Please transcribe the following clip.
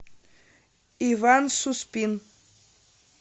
иван суспин